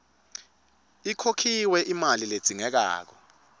ikhokhiwe imali ledzingekako